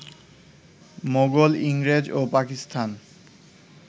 মোগল, ইংরেজ ও পাকিস্তান